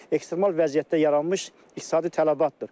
Ekstremal vəziyyətdə yaranmış iqtisadi tələbatdır.